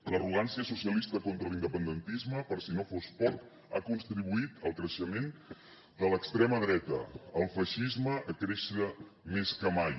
l’arrogància socialista contra l’independentisme per si no fos poc ha contribuït al creixement de l’extrema dreta al feixisme a créixer més que mai